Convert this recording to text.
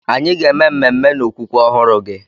Anyị ga eme ememe n'okwukwe ọhụrụ gị.